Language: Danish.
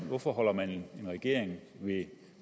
hvorfor holder man en regering ved